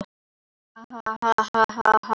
En svarið var áfram eitt og hið sama.